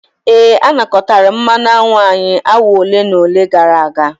Ee, a nakọtara mmanụ aṅụ anyị awa ole na ole gara aga.